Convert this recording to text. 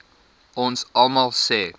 ons almal se